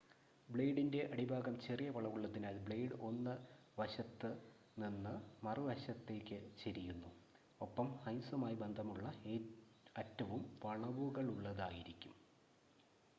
ബ്ലേഡിൻ്റെ അടിഭാഗം ചെറിയ വളവുള്ളതിനാൽ ബ്ലേഡ് 1 വശത്തുനിന്ന് മറുവശത്തേയ്ക്ക് ചെരിയുന്നു ഒപ്പം ഐസുമായി ബന്ധമുള്ള അറ്റവും വളവുകളുള്ളതായിരിക്കും